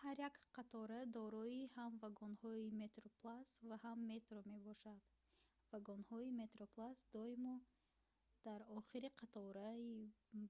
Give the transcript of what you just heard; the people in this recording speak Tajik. ҳар як қатора дорои ҳам вагонҳои metroplus ва ҳам metro мебошад вагонҳои metroplus доимо дар охири қатораи